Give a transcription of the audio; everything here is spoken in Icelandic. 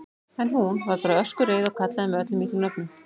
En hún. varð bara öskureið og kallaði mig öllum illum nöfnum.